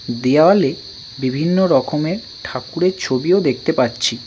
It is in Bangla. দেওয়ালে বিভিন্ন রকমের ঠাকুরের ছবিও দেখতে পাচ্ছি।